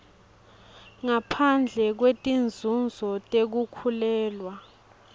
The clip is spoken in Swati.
ngaphandle kwetinzunzo tekukhulelwa